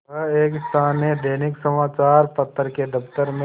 वह एक स्थानीय दैनिक समचार पत्र के दफ्तर में